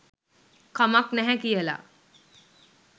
කමක් නැහැ කියලා.